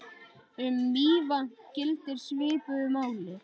Um Mývatn gildir svipuðu máli.